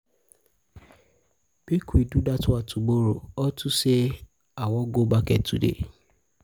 make we do dat one tomorrow unto say i wan go market today